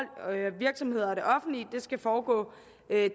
virksomheder og det offentlige skal foregå